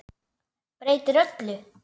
Breytir öllu.